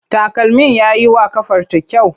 Takalmin ya yi wa ƙafarta kyau.